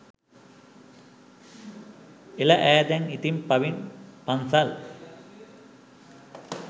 එල ඈදැන් ඉතින් පව්ල් පන්සල්